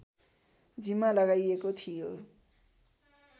जिम्मा लगाइएको थियो